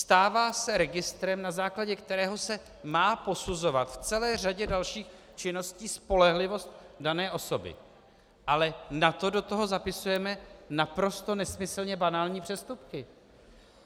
Stává se registrem, na základě kterého se má posuzovat v celé řadě dalších činností spolehlivost dané osoby, ale na to do toho zapisujeme naprosto nesmyslně banální přestupky.